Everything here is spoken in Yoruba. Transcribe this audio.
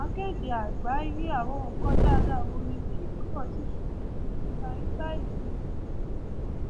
akéde àgbàyé àwọn nǹkan dáadáa wo ni kíkàn báyìí